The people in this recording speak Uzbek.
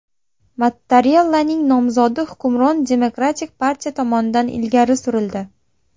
Mattarellaning nomzodi hukmron Demokratik partiya tomonidan ilgari surildi.